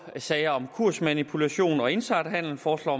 i sager om kursmanipulation og insiderhandel foreslår